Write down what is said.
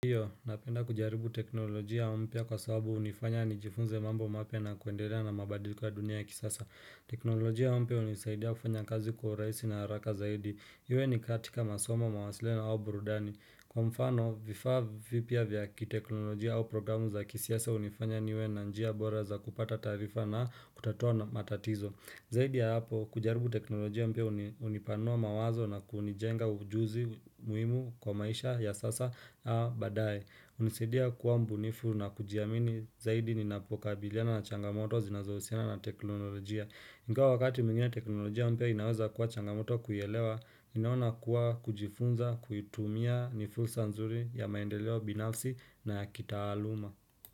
Kwahiyo, napenda kujaribu teknolojia mpya kwa sababu hunifanya nijifunze mambo mapya na kuendelea na mabadiliko dunia ya kisasa. Teknolojia mpya hunisaidia kufanya kazi kwa urahisi na haraka zaidi. Iwe ni katika masoma, mawasiliano au burudani. Kwa mfano, vifaa vipya vya kiteknolojia au programu za kisiasa hunifanya niwe na njia bora za kupata taarifa na kutatua matatizo. Zaidi ya hapo, kujaribu teknolojia mpya hunipanua mawazo na kunijenga ujuzi muhimu kwa maisha ya sasa na baadae. Hunisaidia kuwa mbunifu na kujiamini zaidi ninapokabiliana na changamoto zinazohusiana na teknolojia. Ingawa wakati mwingine teknolojia mpya inaweza kuwa changamoto kuielewa, ninaona kuwa kujifunza, kuitumia ni fursa nzuri ya maendeleo binafsi na ya kitaaluma.